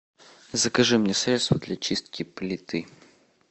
закажи мне средство для чистки плиты